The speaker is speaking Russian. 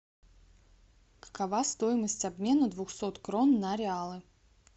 какова стоимость обмена двухсот крон на реалы